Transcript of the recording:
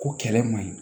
Ko kɛlɛ man ɲi